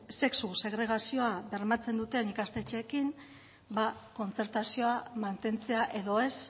sexu segregazioa bermatzen duten ikastetxeekin kontzertazioa mantentzea edo ez